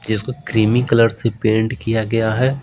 इसको creamy colour से paint किया गया है।